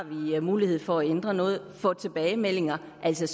mulighed for at ændre noget og få tilbagemeldinger altså